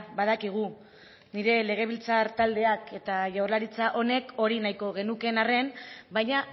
badakigu nire legebiltzar taldeak eta jaurlaritza honek hori nahiko genukeen arren baina